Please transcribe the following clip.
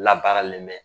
Labaralen bɛ